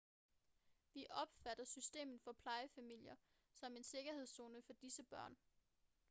vi opfatter systemet for plejefamilier som en sikkerhedszone for disse børn